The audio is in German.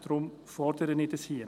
Deshalb fordere ich dies hier.